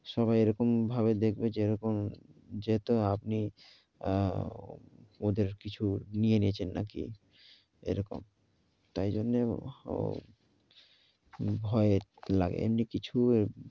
সবাই এরকম ভাবে দেখবে, যেরকম যেহেতু আপনি অ্যা ওদের কিছু নিয়ে নিয়েছেন নাকি? এরকম। তাই জন্যে, ভয়ে লাগে। এমনি কিছু